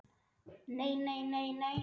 Nei, nei, nei, nei.